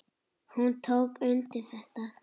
Hún tók undir þetta.